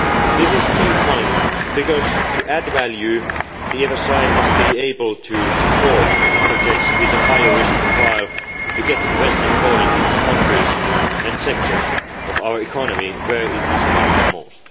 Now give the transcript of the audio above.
This is a key point because, to add value, the EFSI must be able to support projects with a higher risk profile in order to get investment flowing in the countries and sectors of our economy where it is needed most.